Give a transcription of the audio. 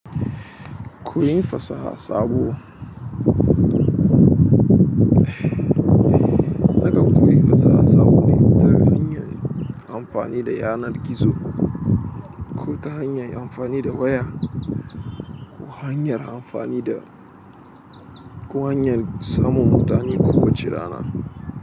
Koyi fasaha sabo. Nakan koyin fasaha sabo ne ta hanyar amfani da yanar gizo, ko ta hanyar amfani da waya, ko hanyar amfani da, ko hanyar samun mutane ko wace rana.